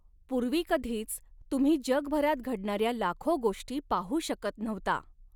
पुर्वी कधीच तुम्ही जगभरात घडणाऱ्या लाखॊ गोष्टी पाहू शकत नव्हता.